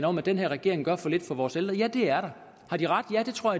om at den her regering gør for lidt for vores ældre ja det er der har de ret ja det tror